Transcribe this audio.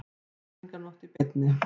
Menningarnótt í beinni